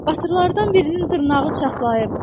Qatırlardan birinin dırnağı çatlayıb.